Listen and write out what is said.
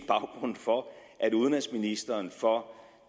baggrunden for at udenrigsministeren for